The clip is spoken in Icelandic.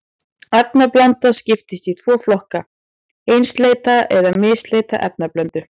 Efnablanda skiptist í tvo flokka, einsleita eða misleita efnablöndu.